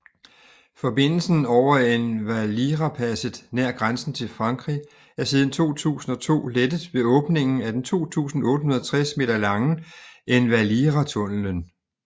Forbindelsen over Envalirapasset nær grænsen til Frankrig er siden 2002 lettet ved åbningen af den 2860 meter lange Envaliratunnelen